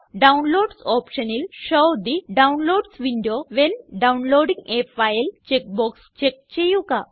downloads ഓപ്ഷനിൽ show the downloads window when downloading a file checkbox check ചെയ്യുക